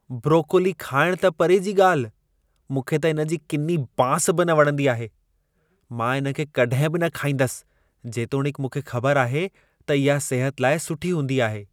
Broccoli खाइण त परे जी ॻाल्हि, मूंखे त इन जी किनी बांस बि न वणंदी आहे। मां इन खे कड॒हिं बि न खाईंदसि जेतोणीकि मूंखे ख़बरु आहे त इहा सिहत लाइ सुठी हूंदी आहे।